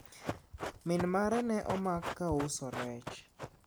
min mare ne omak ka uso rech